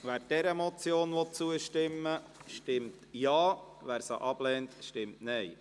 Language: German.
Wer dieser Motion zustimmen will, stimmt Ja, wer diese ablehnt, stimmt Nein.